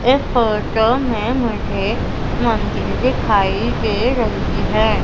इस फोटो में मुझे मन्दिर दिखाई दे रही है।